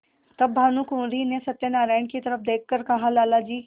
तब भानुकुँवरि ने सत्यनारायण की तरफ देख कर कहालाला जी